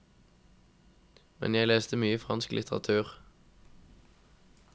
Men jeg leste mye fransk litteratur.